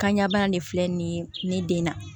Kanɲa bana de filɛ nin ye ne den na